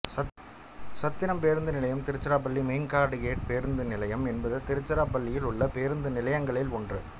சத்திரம் பேருந்து நிலையம் Tiruchirappalli main guard gate பேருந்து நிலையம் என்பது திருச்சிராப்பள்ளியில் உள்ள பேருந்து நிலையங்களில் ஒன்று